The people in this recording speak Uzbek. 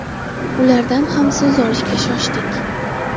Ulardan ham so‘z olishga shoshdik.